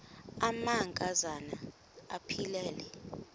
amanka zana aphilele